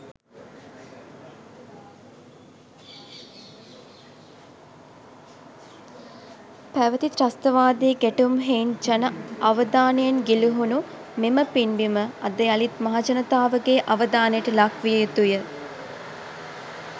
පැවැති ත්‍රස්තවාදී ගැටුම් හෙයින් ජන අවධානයෙන් ගිලිහුණු මෙම පින්බිම අද යළිත් මහජනතාවගේ අවධානයට ලක්විය යුතුය.